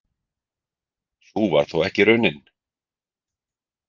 Sú varð þó ekki raunin.